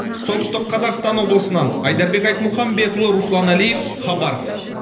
солтүстік қазақстан облысынан айдарбек айтмұхамбетұлы руслан әлиев хабар